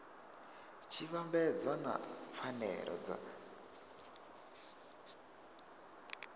tshi vhambedzwa na pfanelo dza